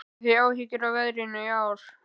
Hafið þið áhyggjur af veðrinu í ár?